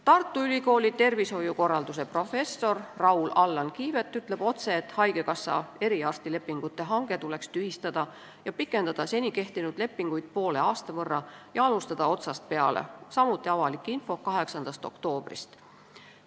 Tartu Ülikooli tervishoiukorralduse professor Raul-Allan Kiivet ütleb otse, et haigekassa eriarstilepingute hange tuleks tühistada, seni kehtinud lepinguid poole aasta võrra pikendada ja otsast peale alustada – samuti avalik info 8. oktoobrist.